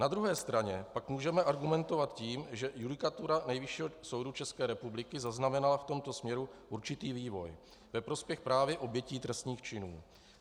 Na druhé straně pak můžeme argumentovat tím, že judikatura Nejvyššího soudu České republiky zaznamenala v tomto směru určitý vývoj ve prospěch právě obětí trestných činů.